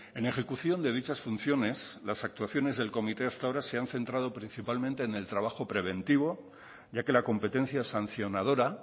en ejecución de dichas funciones las actuaciones del comité hasta ahora se han centrado principalmente en el trabajo preventivo ya que la competencia sancionadora